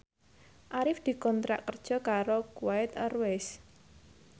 Arif dikontrak kerja karo Kuwait Airways